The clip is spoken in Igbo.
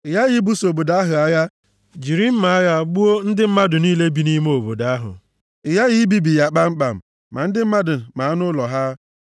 ị ghaghị ibuso obodo ahụ agha jiri mma agha gbuo ndị mmadụ niile bi nʼime obodo ahụ. Ị ghaghị ibibi ya kpamkpam, ma ndị mmadụ ma anụ ụlọ ha.